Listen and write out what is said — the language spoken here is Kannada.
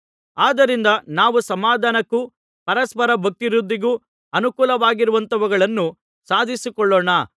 ಆದ್ದರಿಂದ ನಾವು ಸಮಾಧಾನಕ್ಕೂ ಪರಸ್ಪರ ಭಕ್ತಿವೃದ್ಧಿಗೂ ಅನುಕೂಲವಾಗಿರುವಂಥವುಗಳನ್ನು ಸಾಧಿಸಿಕೊಳ್ಳೋಣ